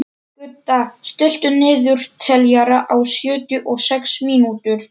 Gudda, stilltu niðurteljara á sjötíu og sex mínútur.